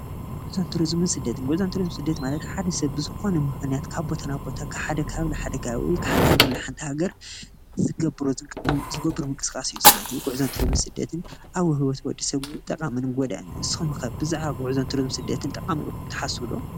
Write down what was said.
ጉዕዞ ትሩዙምን ስደትን፦ ጉዕዞ ትሩዙም ስደትን ማለት ንሓደ ሰብ ብዝኮነ ምክንያት ካብ ቦታ ናብ ቦታ/ካብ ሃገር ናብ ሃገር/ ወይ ከዓ ካብ ሓንቲ ባታ ሓንቲ ዝገብሮ ምንቅስቃስ እዩ። ጉዕዞ ትሩዙምን ስደትን ኣብ ውህብቶ ሰብ ጠቃምን ጎዳእን ንስኩም'ከ ብዛዕባ ትሩዙምን ስደትን ጠቃሚ እልኩም ትሓስቡ'ዶ?